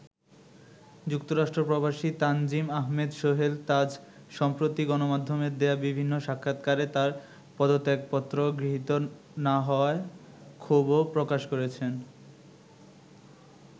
যুক্তরাষ্ট্র প্রবাসী তানজিম আহমেদ সোহেল তাজ সম্প্রতি গণমাধ্যমে দেয়া বিভিন্ন সাক্ষাতকারে তাঁর পদত্যাগপত্র গৃহীত না হওয়ায় ক্ষোভও প্রকাশ করেছেন।